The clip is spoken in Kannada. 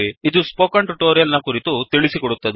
ಇದು ಈ ಸ್ಪೋಕನ್ ಟ್ಯುಟೋರಿಯಲ್ ಕುರಿತು ತಿಳಿಸಿಕೊಡುತ್ತದೆ